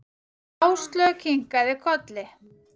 Áslaug kinkaði kolli.